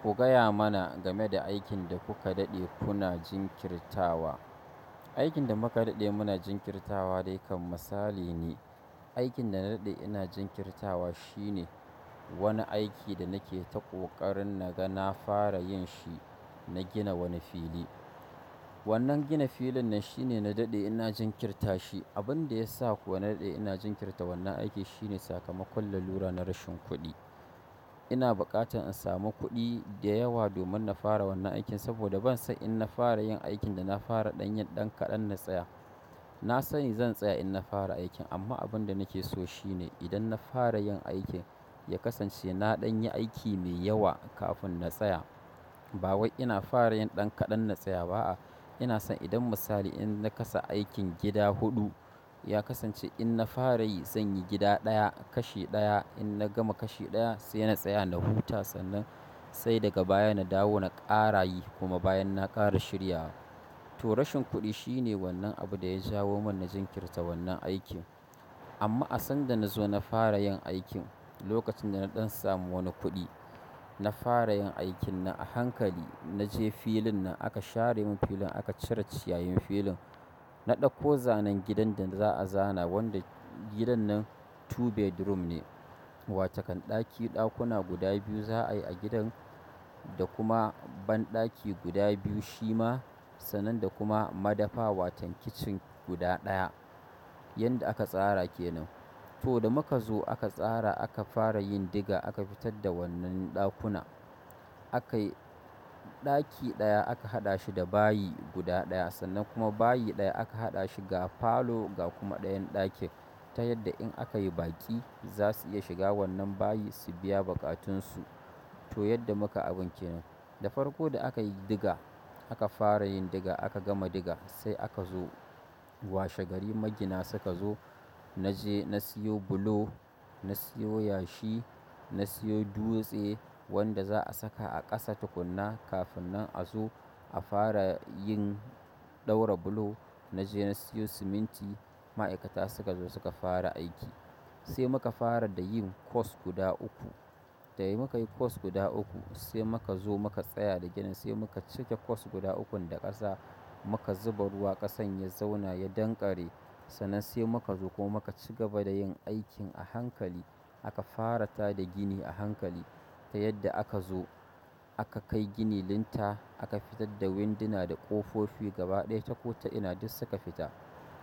Ku gaya mana game da aikin da kuka daɗe kuna jinkirtawa. Aikin da muka daɗe muna jinkirtawa dai kan misali ne. Aikin da na daɗe ina jinkirtawa shine wani aiki da nake ta ƙoƙarin na ga na fara yin shi, na gina wani fili. Wannan gina filin nan shine na daɗe ina jinkirta shi. Abin da ya sa kuwa na daɗe ina jinkirta wannan aiki shine sakamakon lalura na rashin kuɗi. Ina buƙatan in sami kuɗi da yawa domin na fara wannan aikin saboda bansan in na fara yin aikin da na fara ɗan yin ɗan kaɗan na tsaya. Na sani zan tsaya in na fara aikin amma abin da nake so shine idan na fara yin aikin ya kasance na ɗan yi aiki mai yawa kafin na tsaya. Ba wai ina fara yin ɗan kaɗan na tsaya ba'a. Ina son idan misali in na kasa aikin gida huɗu, ya kasance in na fara yi zan yi gida ɗaya, kashi ɗaya in na gama kashi ɗaya sai na tsaya na huta sannan, sai daga baya na dawo na ƙara yi kuma bayan na ƙara shirya wa. To rashin kuɗi shine wannan abin da ya jawo mun na jinkirta wannan aikin. Amma a sanda na zo na fara yin aikin lokacin da na ɗan samu wani kuɗi, na fara yin aikin na a hankali. Na je filin nan aka share mun filin aka cire ciyayin filin. Na ɗauko zanen gidan da za'a zana wanda gidan nan two bedroom ne, watokan ɗaki ɗakuna guda biyu za'a yi a gidan da kuma banɗaki guda biyu shi ma sannan da kuma madafa wato kitchen guda ɗaya. Yadda aka tsara kenan. To da muka zo aka tsara aka fara yin diga aka fitar da wannan ɗakuna. Akayi ɗaki ɗaya aka haɗa shi da bayi guda ɗaya sannan kuma bayi ɗaya aka haɗa shi ga falo ga kuma ɗayan ɗakin ta yadda in aka yi baki za su iya shiga wannan bayi su biya buƙatunsu. To yadda muka abun kenan. Da farko da aka yi diga aka fara yin diga aka gama diga sai aka zo. Washe gari magina suka zo na je na siyo bulo, na siyo yashi, na siyo dutse, wanda za'a saka a ƙasa tukuna kafin nan a zo a fara yin ɗaura bulo. Na je na siyo siminti. Ma'aikata suka zo suka fara aiki. Sai muka fara da yin course guda uku. Da muka yi course guda uku sai muka zo muka tsaya da ginin sai muka cike course guda ukun da ƙasa muka zuba ruwa ƙasan ya zauna ya danƙare. Sannan sai muka zo kuma muka ci gaba da yin aikin a hankali. Aka fara tada gini a hankali ta yadda aka zo aka kai gini linta aka fitar da winduna da ƙofofi gaba ɗaya ta kota ina duk suka fita.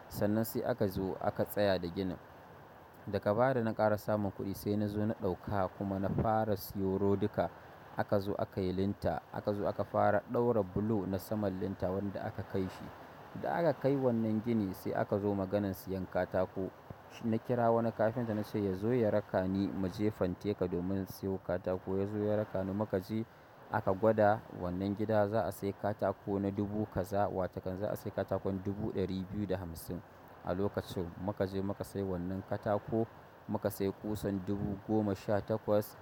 Sannan sai aka zo aka tsaya da ginin. Daga baya da na ƙara samun kuɗi sai na zo na ɗauka kuma na fara siyo rodika. Aka zo aka yi linta aka zo aka fara ɗaura bulo na saman linta wanda aka kai shi. Da aka kai wannan gini sai aka zo maganan siyan katako. Na kira wani kafinta na ce ya zo ya raka ni mu je fanteka domin siyo katako. Ya zo ya raka ni muka je aka gwada wannan gida za'a sai katako na dubu kaza wato kan za'a sai katakon dubu ɗari biyu da hamsin a lokacin. Muka je muka sai wannan katako muka sai ƙusan dubu goma sha takwas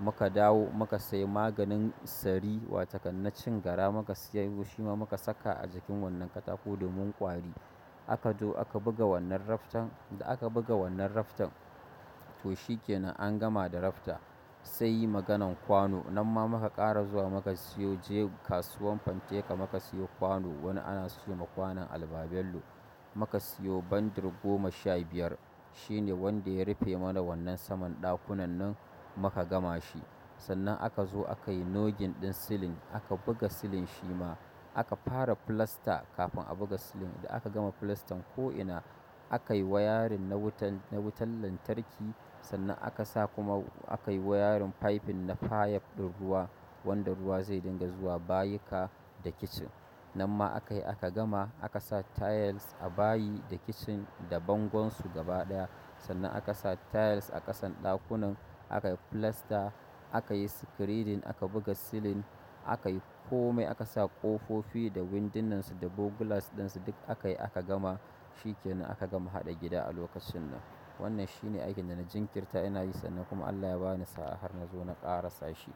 muka dawo muka sai maganin sari wato kan na cin gara muka siyo shi ma muka saka a jikin wannan katako domin ƙwari. Aka zo aka buga wannan raftan, da aka buga wannan raftan to shi kenan an gama da rafta. Sai maganan kwano. Har ma muka ƙara zuwa muka siyo je kasuwan fanteka muka siyo kwano wani ana siyo ma kwanon albabello. Muka siyo bandir goma sha biyar shine wanda ya rufe mana wannan saman ɗakunannin muka gama shi. Sannan aka zo aka yi noggin ɗin silin aka buga silin shi ma. Aka fara filasta kafin a buga silin da aka gama filastan ko'ina. Aka yi wayarin na wutan, na wutan lantarki sannan aka sa kuma aka yi wayarin faifin na fayab ɗin ruwa wanda ruwa zai dinga zuwa bayika da kitchen. Nan ma aka yi aka gama aka sa tiles a bayi da kitchen da bangon su gaba ɗaya. Sannan aka sa tiles a ƙasan ɗakunan aka yi filasta aka yi screeding aka buga silin aka yi komai aka sa ƙofofi da windunnansu da bo glass ɗinsu duk aka yi aka gama shi kenan aka gama haɗa gida a lokacin nan. Wannan shi ne aikin da na jinkirta ina yi sannan kuma Allah ya bani sa'a har na zo na ƙara sashi.